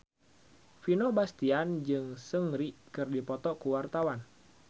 Vino Bastian jeung Seungri keur dipoto ku wartawan